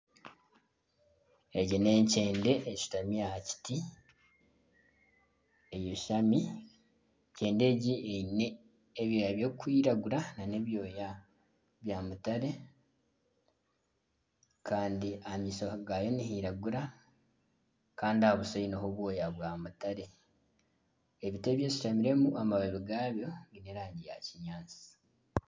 Egi ni enkyende eshutami aha kiti eyashami. Enkyende egi eine ebyooya ebirikwiragura nana ebyooya ebya mutare kandi aha maisho gaayo nihiragura Kandi aha buso eine ho ebyooya bya mutare. Ebiti ebi eshutamiremu, amababi gabyo giine erangi ya kinyaatsi.